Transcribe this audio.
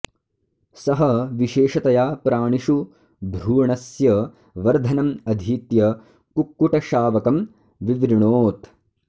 सः विशेषतया प्राणिषु भ्रूणस्य वर्धनम् अधीत्य कुक्कुटशावकं विवृणोत्